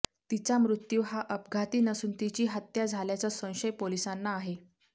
तिचा मृत्यू हा अपघाती नसून तिची हत्या झाल्याचा संशय पोलिसांना आहे